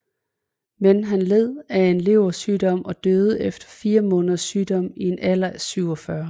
Men han led af en leversygdom og døde efter fire måneders sygdom i en alder af 47